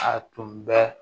A tun bɛ